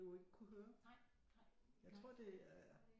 Jo ikke kunne høre jeg tror det er